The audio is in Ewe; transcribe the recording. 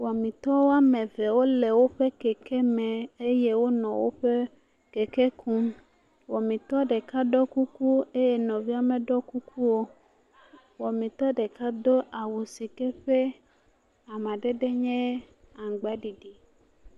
Wɔmetɔwo ame eve wo le woƒe keke me eye wonɔ woƒe keke kum. Wɔmetɔ ɖeka ɖɔ kuku eye nɔvi ameɖɔ kuku o. wɔmetɔ ɖeka do awu si ke ƒe amdede nye aŋgbaɖiɖi.